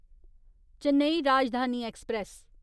Chennai Rajdhani express